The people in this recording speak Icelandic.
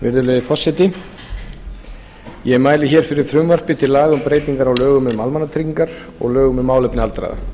virðulegi forseti ég mæli hér fyrir frumvarpi til laga um breytingar á lögum um almannatryggingar og lögum um málefni aldraðra um er að